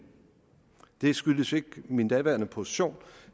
det skyldtes ikke min daværende position